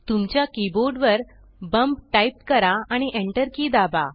तुमच्या कीबोर्ड वर bump type करा आणि enter की दाबा